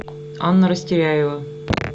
анна растеряева